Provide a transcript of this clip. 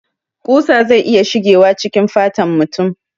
Kusa zai iya shigewa cikin fatan mutum